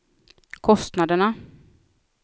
kostnaderna